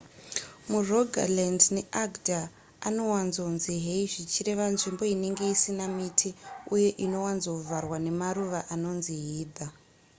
murogaland neagder anowanzonzi hei zvichireva nzvimbo inenge isina miti uye inowanzovharwa nemaruva anonzi heather